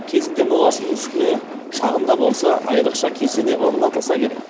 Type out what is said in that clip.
кезінде моласының үстіне шағын да болса айрықша кесене орнатылса керек